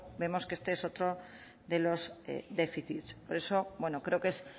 vemos que este es otro de los déficits por eso creo que es